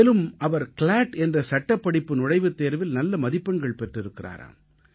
மேலும் அவர் கிளாட் என்ற சட்டப்படிப்பு நுழைவுத் தேர்வில் நல்ல மதிப்பெண்கள் பெற்றிருக்கிறாராம்